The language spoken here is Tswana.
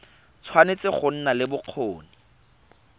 tshwanetse go nna le bokgoni